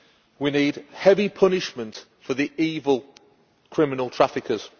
We need heavy punishment for the evil, criminal traffickers.